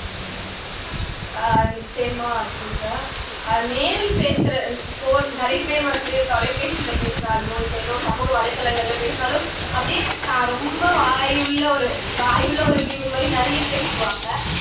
அஹ் நிச்சயமா பூஜா நேரில் பேசுற போல் நிறையப்பேர் வந்து தொலைபேசில பேசினாலோ இல்லை ஏதோ சமூக வலைதலங்கள்ல பேசினாலோ அப்படியே தான் ரொம்ப வாயுள்ள ஒரு வாயுள்ள ஒரு ஜீவன் மாதிரி நிறைய பேசிருவாங்க